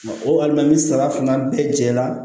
O walima ni saba fana bɛɛ jɛra